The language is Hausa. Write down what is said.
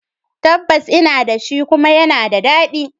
Tabbas ina da shi, kuma yana da daɗi